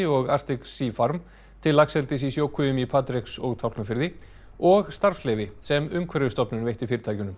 og Arctic Sea farm til laxeldis í sjókvíum í Patreks og Tálknafirði og starfsleyfi sem Umhverfisstofnun veitti fyrirtækjunum